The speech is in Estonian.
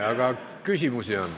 Aga on küsimusi.